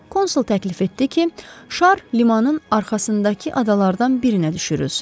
Konsul təklif etdi ki, şar limanın arxasındakı adalardan birinə düşürülsün.